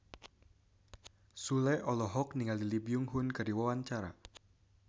Sule olohok ningali Lee Byung Hun keur diwawancara